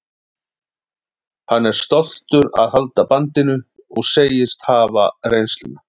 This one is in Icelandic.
Hann er stoltur að halda bandinu og segist hafa reynsluna.